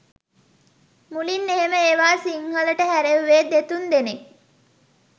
මුලින් එහෙම ඒවා සිංහලට හැරෙව්වේ දෙතුන් දෙනෙක්.